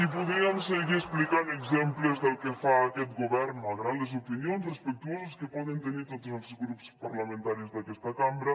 i podríem seguir explicant exemples del que fa aquest govern malgrat les opinions respectuoses que poden tenir tots els grups parlamentaris d’aquesta cambra